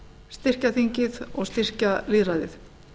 styrkja þingið og styrkja lýðræðið